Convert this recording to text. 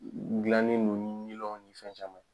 Gilannen no ni milɔnw ni fɛn caman ye.